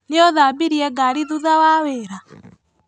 Nĩũthambirie ngari thutha wa wĩra?